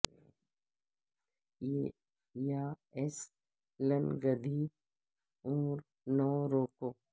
یا ایس لنگھدی عمر نوں رو کو